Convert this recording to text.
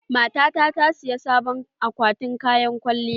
Matata ta saya sabon akwatin kayan kwalliya.